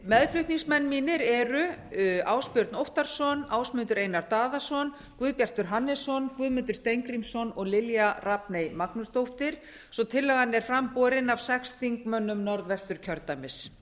meðflutningsmenn mínir eru ásbjörn óttarsson ásmundur einar daðason guðbjartur hannesson guðmundur steingrímsson og lilja rafney magnúsdóttir svo að tillagan er fram borin af sex þingmönnum norðvesturkjördæmis